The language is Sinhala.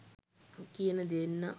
කියන දෙන්නා